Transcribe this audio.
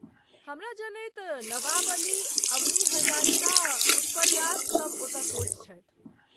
हमरा जनैत नवाब अली, अबनी हजारिका, उत्पल दास सभ ओतय कोच छथि।